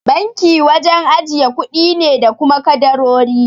Banki wajen ajiye kuɗi ne da kuma kadarori.